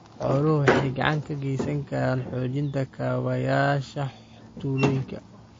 Xooluhu waxay gacan ka geysan karaan xoojinta kaabayaasha tuulooyinka.